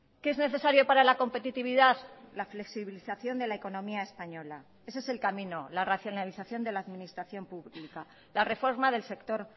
qué es necesario para la competitividad la flexibilización de la economía española ese es el camino la racionalización de la administración pública la reforma del sector